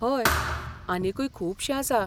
हय, आनीकूय खुबशें आसा.